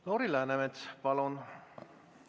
Lauri Läänemets, palun!